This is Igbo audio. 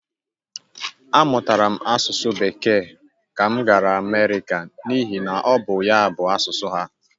A mụtara m asụsụ Bekee ka m gara Amerịka n'ihi na ọ bụ ya bụ asụsụ ha.